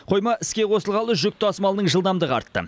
қойма іске қосылғалы жүк тасымалының жылдамдығы артты